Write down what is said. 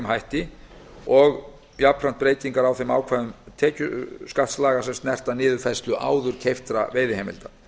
hætti og jafnframt breytingar á þeim ákvæðum tekjuskattslaga sem snerta niðurfærslu áður keyptra veiðiheimilda